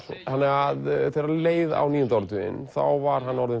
þegar leið á níunda áratuginn var hann orðinn